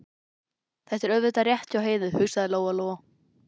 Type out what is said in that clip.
Þetta er auðvitað rétt hjá Heiðu, hugsaði Lóa Lóa.